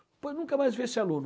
Depois eu nunca mais vi esse aluno.